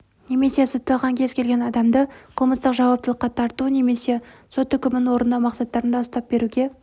немесе сотталған кез келген адамды қылмыстық жауаптылыққа тарту немесе сот үкімін орындау мақсаттарында ұстап беруге